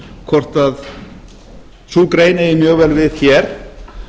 hvort að sú grein eigi mjög vel við hér